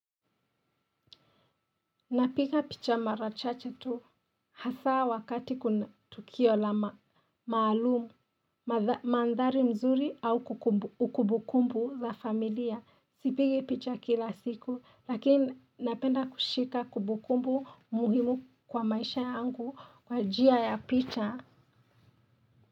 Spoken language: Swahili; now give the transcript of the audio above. Napiga picha mara chache tu hasa wakati kuna tukio la maalum, maandhari mzuri au kumbukumbu za familia. Sipigi picha kila siku lakini napenda kushika kumbukumbu muhimu kwa maisha angu kwa njia ya picha.